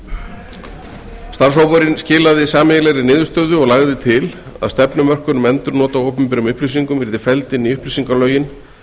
þeirra starfshópurinn skilaði sameiginlegri niðurstöðu og lagði til að stefnumörkun um endurnot á opinberum upplýsingum yrðu felld inn í upplýsingalögin